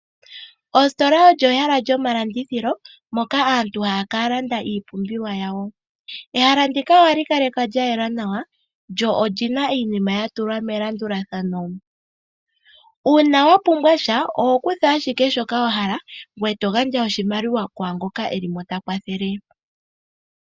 Ositola olyo ehala lyomalandithilo moka aantu haya ka landa iipumbiwa yawo. Ehala ndika ohali kalekwa lya yela nawa lyo oli na iinima ya tulwa melandulathano. Uuna wa pumbwa sha, oho kutha ashike shoka wa hala ngoye to gandja oshimaliwa kwaa ngoka e li mo ta kwathele.